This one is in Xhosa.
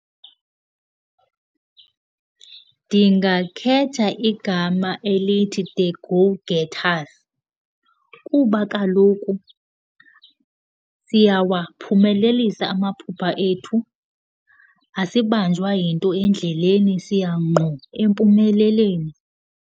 Ndingakhetha igama elithi The Go Getters kuba kaloku siyawaphumelelisa amaphupha ethu, asibanjwa yinto endleleni. Siya ngqo empumelelweni.